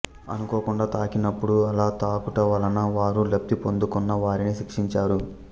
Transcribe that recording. అనుకోకుండా తాకినప్పుడు అలా తాకుటవలన వారు లబ్ధి పొందకున్న వారిని శిక్షంచరు